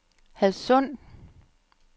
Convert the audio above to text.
Hadsund